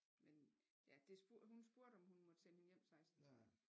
Men ja det hun spurgte om hun måtte sende hende hjem 16 30